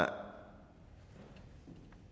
her